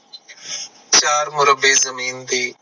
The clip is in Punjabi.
ਚਾਰ ਮੁਰੱਬੇ ਜ਼ਮੀਨ ਦੀ